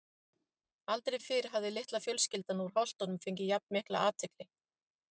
Aldrei fyrr hafði litla fjölskyldan úr Holtunum fengið jafn mikla athygli.